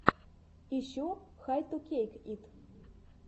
ищи хай ту кейк ит